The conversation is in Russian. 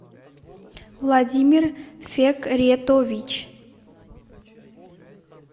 владимир фекретович